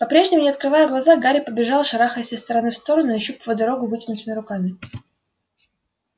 по-прежнему не открывая глаза гарри побежал шарахаясь из стороны в сторону нащупывая дорогу вытянутыми руками